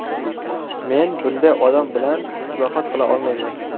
Men bunday odam bilan islohot qila olmayman.